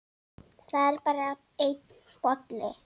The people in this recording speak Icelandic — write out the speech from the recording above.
Það er bara einn bolli!